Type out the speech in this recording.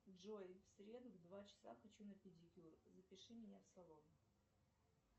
джой в среду в два часа хочу на педикюр запиши меня в салон